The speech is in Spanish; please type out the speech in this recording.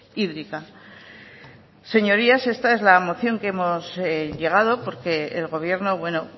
hídrica señorías esta es la moción que hemos llegado porque el gobierno bueno